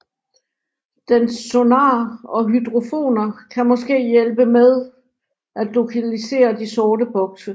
Dens sonar og hydrofoner kan måske hjælpe med at lokalisere de sorte bokse